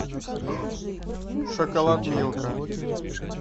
шоколад милка